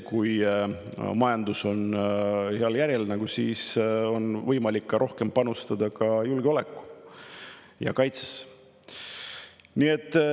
Kui majandus on heal järjel, siis on võimalik rohkem panustada ka julgeolekusse ja kaitsesse.